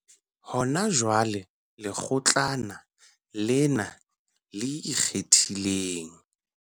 Hona jwale, Lekgotlana lena le Ikgethileng.